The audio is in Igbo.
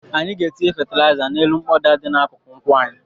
Anyị ga-etinye fatịlaịza n'elu mkpọda dị n'akụkụ nkwụ anyị.